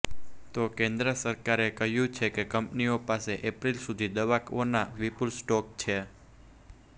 તો કેન્દ્ર સરકારે કહ્યું છે કે કંપનીઓ પાસે એપ્રિલ સુધી દવાઓનો વિપુલ સ્ટોક છે